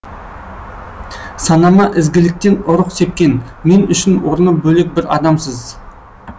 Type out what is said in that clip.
санама ізгіліктен ұрық сепкен мен үшін орны бөлек бір адамсыз